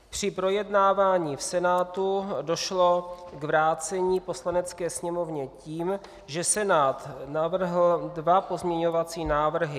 Při projednávání v Senátu došlo k vrácení Poslanecké sněmovně tím, že Senát navrhl dva pozměňovací návrhy.